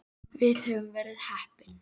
Við höfum verið heppin.